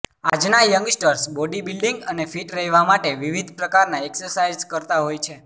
આજના youngsters body building અને fit રહેવા માટે વિવિધ પ્રકારના એક્સરસાઇઝ કરતા હોય છે